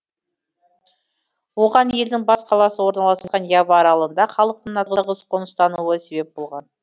оған елдің бас қаласы орналасқан ява аралында халықтың тығыз қоныстануы себеп болған